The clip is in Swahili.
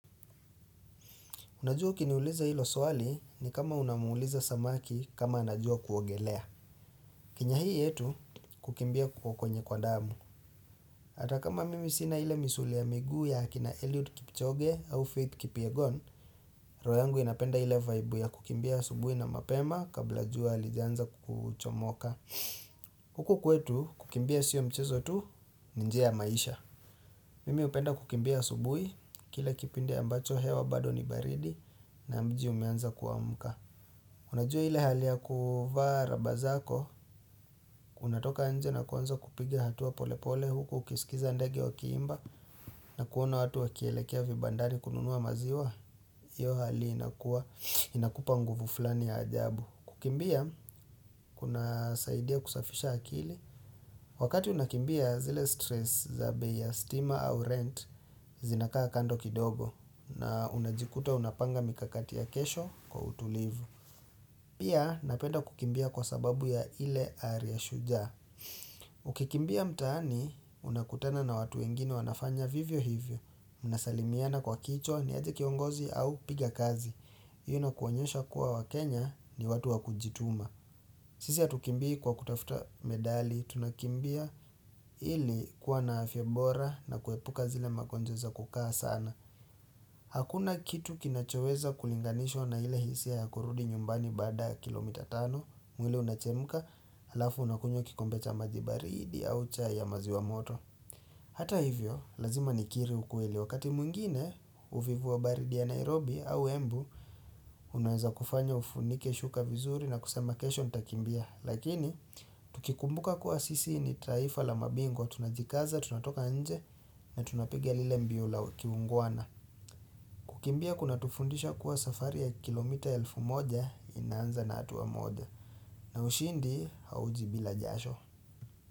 Unajua kiniuliza ilo swali ni kama unamuuliza samaki kama anajua kuogelea. Kenya hii yetu kukimbia kwa kwenye kwa damu. Atakama mimi sina ile misuli ya migu ya hakina Eliud Kipchoge au Faith Kipyegon, roho yangu inapenda ile vibe ya kukimbia asubui na mapema kabla jua halijanza kuchomoka. Kuku kwetu kukimbia sio mchezo tu ni njia maisha. Mimi upenda kukimbia asubui kila kipindi ambacho hewa bado ni baridi na mji umeanza kuamka. Unajua hile hali ya kuvaa raba zako, unatoka anje na kuwanza kupigia hatua pole pole huku ukisikiza ndege wa kiimba na kuona watu wakielekea vibandari kununua maziwa, iyo hali inakua inakupa nguvu flani ya ajabu. Kukimbia, kuna saidia kusafisha akili, wakati unakimbia zile stress za bei, stima au rent, zinakaa kando kidogo na unajikuta unapanga mikakati ya kesho kwa utulivu. Pia napenda kukimbia kwa sababu ya ile ariashuja. Ukikimbia mtani, unakutana na watu wengine wanafanya vivyo hivyo. Unasalimiana kwa kicho, ni aje kiongozi au piga kazi. Iyo inakuonyosha kuwa wakenya ni watu wakujituma. Sisi hatukimbii kwa kutafuta medali, tunakimbia ili kuwa na afyebora na kuepuka zile magonjwa za kukaa sana. Hakuna kitu kinachoweza kulinganishwa na hile hisia ya kurudi nyumbani bada kilomita tano mwili unachemka alafu unakunywa kikombecha majibaridi au chai ya mazi wa moto Hata hivyo lazima nikiri ukueli wakati mwingine uvivu wa baridi ya Nairobi au embu Unaweza kufanya ufunike shuka vizuri na kusema kesho nitakimbia Lakini tukikumbuka kuwa sisi ni taifa la mabingwa tunajikaza tunatoka nje na tunapigia lile mbiula kiunguana Kukimbia kuna tufundisha kuwa safari ya kilomita elfu moja inanza na hatuwa moja. Na ushindi haujibila jasho.